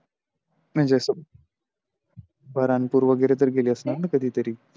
म्हणजे असं बऱ्हाणपूर वगेरे तर गेली असणार कधी तरी.